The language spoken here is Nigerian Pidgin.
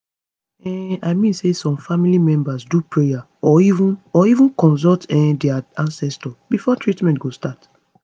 um i mean say some family members do prayer or even or even consult um dia ancestors before treatment go start